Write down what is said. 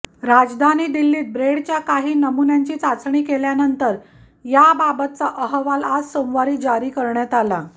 राजधानी दिल्लीत ब्रेडच्या काही नमुन्यांची चाचणी केल्यानंतर याबाबतचा अहवाल आज सोमवारी जारी करण्यात आला